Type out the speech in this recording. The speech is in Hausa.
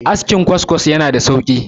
askin kwaskwas yana da sauki